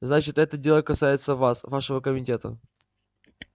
значит это дело касается вас вашего комитета